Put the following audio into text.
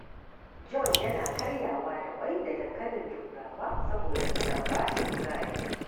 John yana karyawa da ƙwai da dankalin Turawa saboda suna ba shi kuzari.